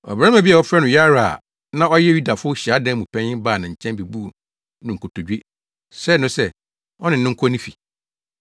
Ɔbarima bi a wɔfrɛ no Yairo a na ɔyɛ Yudafo hyiadan mu panyin baa ne nkyɛn bebuu no nkotodwe, srɛɛ no sɛ, ɔne no nkɔ ne fi